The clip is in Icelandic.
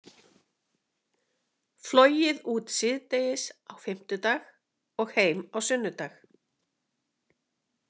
Flogið út síðdegis á fimmtudag og heim á sunnudag.